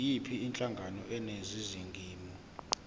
yiyiphi inhlangano eningizimu